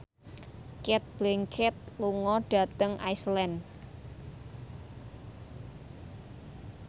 Cate Blanchett lunga dhateng Iceland